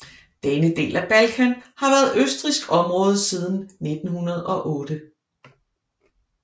Denne del af Balkan havde været østrigsk område siden 1908